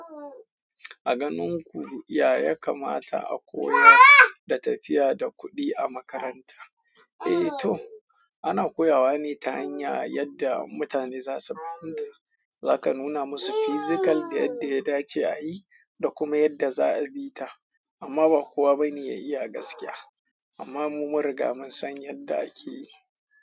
A ganin ku, ya ya kamata a koyar da tafiya da kuɗi a makaranta? Eh to, ana koya wa ne ta hanya yadda mutane za su fahimta, zaka nuna musu physical da yadda ya dace a yi da kuma yadda za a bi ta amma ba kowa ba ne ya iya gaskiya amma mu mun riga mun san yadda ake yi.